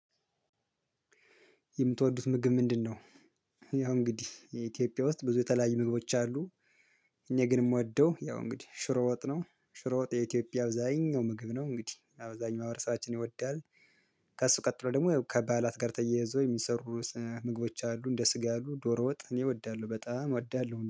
የምትወዱት ምግብ ምንድነው? ያው እንግዲህ የኢትዮጵያ ውስጥ ብዙ የተለያየ ምግቦች አሉ። እኔ ግን የምወደው ያው እንግዲህ ሽሮ ወጥ ነው። ሽሮ ወጥ የኢትዮጵያ አብዛኛው ምግብ ነው እንግዲህ አብዛኛው ማህበራሰባችን ይወዳል። ከእሱ ቀጥሎ ደግሞ ከባአላት ጋር ተያይዞ የሚሰሩ ምግቦች አሉ እንደ ስጋ አሉ ዶሮ ወጥ እኔ እወዳለሁ በጣም እወዳለሁ